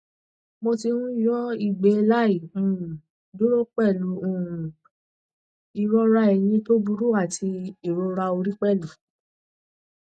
mo ti ń yọ ìgbẹ láì um dúró pẹlú um ìrora ẹyìn tó burú àti ìrora orí pẹlú